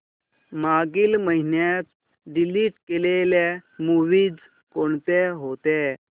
मागील महिन्यात डिलीट केलेल्या मूवीझ कोणत्या होत्या